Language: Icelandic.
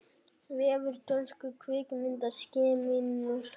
Vefur dönsku kvikmyndaakademíunnar